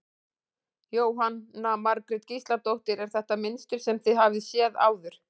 Jóhanna Margrét Gísladóttir: Er þetta mynstur sem þið hafið séð áður?